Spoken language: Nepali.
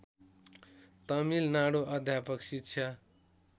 तमिलनाडु अध्यापक शिक्षा